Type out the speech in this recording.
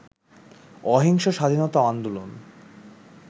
অহিংস স্বাধীনতা আন্দোলন